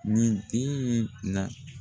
Nin den in na.